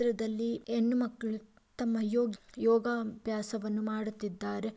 ಈ ಚಿತ್ರದಲ್ಲಿ ಹೆಣ್ಣು ಮಕ್ಕಳು ತಮ್ಮ ಯೋಗಿ ಯೋಗ ಅಭ್ಯಾಸವನ್ನು ಮಾಡುತ್ತಿದ್ದಾರೆ .